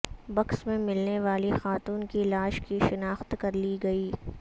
books میں ملنے والی خاتون کی لاش کی شناخت کرلی گئی